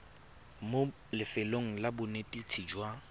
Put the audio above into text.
mo lefelong la bonetetshi jwa